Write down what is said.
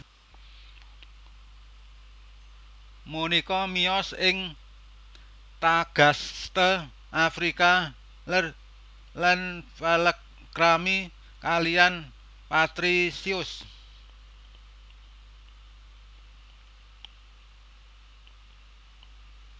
Monika miyos ing Tagaste Afrika Lèr lan palakrami kaliyan Patrisius